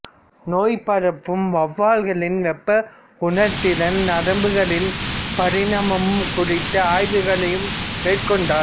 நோய் பரப்பும் வெளவால்களின் வெப்பஉணர்திறன் நரம்புகளின் பரிணாமம் குறித்த ஆய்வுகளையும் மேற்கொண்டார்